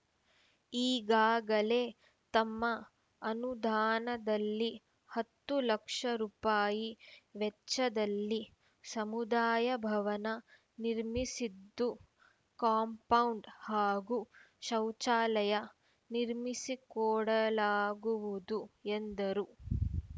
ಈಗಾಗಲೇ ತಮ್ಮ ಅನುದಾನದಲ್ಲಿ ಹತ್ತು ಲಕ್ಷ ರುಪಾಯಿ ವೆಚ್ಚದಲ್ಲಿ ಸಮುದಾಯ ಭವನ ನಿರ್ಮಿಸಿದ್ದು ಕಾಂಪೌಂಡ್‌ ಹಾಗೂ ಶೌಚಾಲಯ ನಿರ್ಮಿಸಿಕೊಡಲಾಗುವುದು ಎಂದರು